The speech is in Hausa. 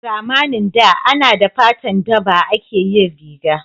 A zamanin da ana da fatan daba ake yin riga